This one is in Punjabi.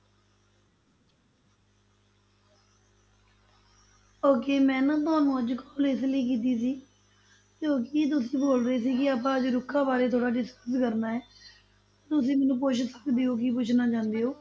Okay ਮੈਂ ਨਾ ਤੁਹਾਨੂੰ ਅੱਜ call ਇਸ ਲਈ ਕੀਤੀ ਸੀ ਕਿਉਂਕਿ ਤੁਸੀਂ ਬੋਲ ਰਹੇ ਸੀ ਕਿ ਆਪਾਂ ਅੱਜ ਰੁੱਖਾਂ ਬਾਰੇ ਥੋੜ੍ਹਾ ਜਿਹਾ discuss ਕਰਨਾ ਹੈ, ਤੁਸੀਂ ਮੈਨੂੰ ਪੁੱਛ ਸਕਦੇ ਹੋ ਕੀ ਪੁੱਛਣਾ ਚਾਹੁੰਦੇ ਹੋ।